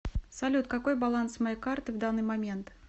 салют какой баланс моей карты в данный момент